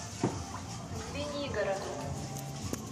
звенигороду